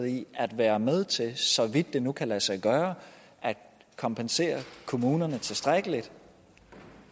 i at være med til så vidt det nu kan lade sig gøre at kompensere kommunerne tilstrækkeligt